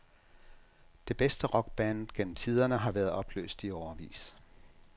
Det bedste rockband gennem tiderne har været opløst i årevis.